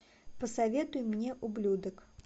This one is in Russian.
посоветуй мне ублюдок